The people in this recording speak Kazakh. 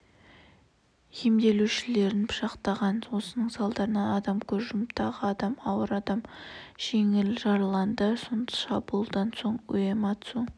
емделушілерінпышақтаған осының салдарынан адам көз жұмып тағы адам ауыр адам жеңіл жараланды шабуылдан соң уэмацу